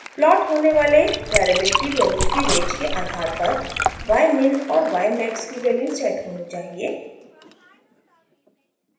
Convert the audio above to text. plot होने वाले variable की वैल्यू की रेंज के आधार पर ymin और ymax की वैल्यू सेट होनी चाहिए